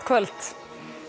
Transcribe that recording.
kvöld